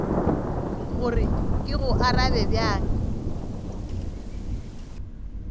gore ke go arabe bjang